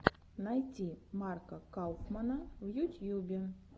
найти марка кауфмана в ютьюбе